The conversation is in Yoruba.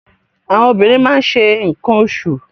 Àwọn obìnrin máa ń ṣe nǹkan oṣù.